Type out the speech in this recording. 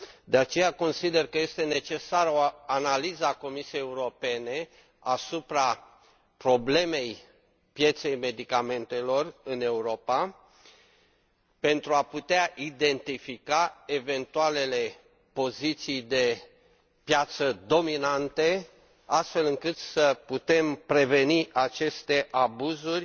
De aceea, consider că este necesară o analiză a Comisiei Europene asupra problemei pieței medicamentelor în Europa pentru a putea identifica eventualele poziții dominante de piață, astfel încât să putem preveni aceste abuzuri